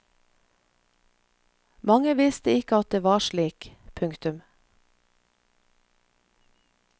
Mange visste ikke at det var slik. punktum